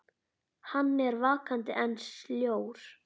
Hann er vakandi en sljór.